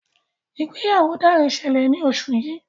ìgbéyàwó Dare ṣẹlẹ ní oṣù yí.